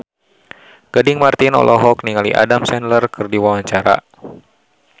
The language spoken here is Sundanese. Gading Marten olohok ningali Adam Sandler keur diwawancara